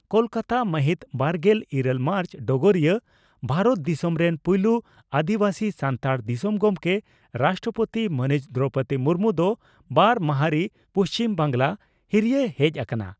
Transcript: ᱠᱚᱞᱠᱟᱛᱟ ᱢᱟᱦᱤᱛ ᱵᱟᱨᱜᱮᱞ ᱤᱨᱟᱹᱞ ᱢᱟᱨᱪ (ᱰᱚᱜᱚᱨᱤᱭᱟᱹ) ᱺ ᱵᱷᱟᱨᱚᱛ ᱫᱤᱥᱚᱢ ᱨᱮᱱ ᱯᱩᱭᱞᱩ ᱟᱹᱫᱤᱵᱟᱹᱥᱤ ᱥᱟᱱᱛᱟᱲ ᱫᱤᱥᱚᱢ ᱜᱚᱢᱠᱮ (ᱨᱟᱥᱴᱨᱚᱯᱳᱛᱤ) ᱢᱟᱹᱱᱤᱡ ᱫᱨᱚᱣᱯᱚᱫᱤ ᱢᱩᱨᱢᱩ ᱫᱚ ᱵᱟᱨ ᱢᱟᱦᱟᱨᱤ ᱯᱩᱪᱷᱤᱢ ᱵᱟᱝᱜᱽᱞᱟ ᱦᱤᱨᱤᱭ ᱦᱮᱡ ᱟᱠᱟᱱᱟ ᱾